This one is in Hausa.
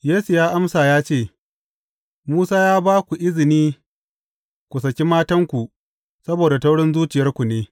Yesu ya amsa ya ce, Musa ya ba ku izini ku saki matanku saboda taurin zuciyarku ne.